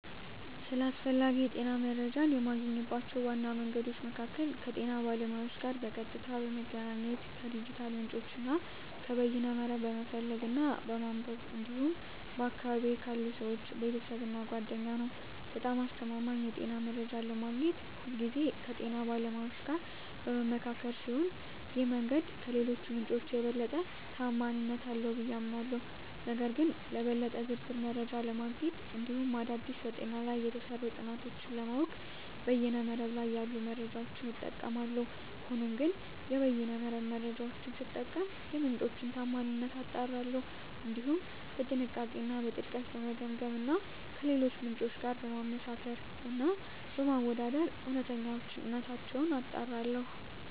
ስለ አስፈላጊ የጤና መረጃን የማገኝባቸው ዋና መንገዶች መካከል ከጤና ባለሙያዎች ጋር በቀጥታ በመገናኘት፣ ከዲጂታል ምንጮች እና ከበይነ መረብ በመፈለግ እና በማንበብ እንዲሁም በአካባቢየ ካሉ ሰወች፣ ቤተሰብ እና ጓደኛ ነዉ። በጣም አስተማማኝ የጤና መረጃ ለማግኘት ሁልጊዜ ከጤና ባለሙያዎች ጋር በምመካከር ሲሆን ይህ መንገድ ከሌሎቹ ምንጮች የበለጠ ተአማኒነት አለው ብየ አምናለሁ። ነገር ግን ለበለጠ ዝርዝር መረጃ ለማግኘት እንዲሁም አዳዲስ በጤና ላይ የተሰሩ ጥናቶችን ለማወቅ በይነ መረብ ላይ ያሉ መረጃዎችን እጠቀማለሁ። ሆኖም ግን የበይነ መረብ መረጃወቹን ስጠቀም የምንጮቹን ታአማኒነት አጣራለሁ፣ እንዲሁም በጥንቃቄ እና በጥልቀት በመገምገም እና ከሌሎች ምንጮች ጋር በማመሳከር እና በማወዳደር እውነተኝነታቸውን አጣራለሁ።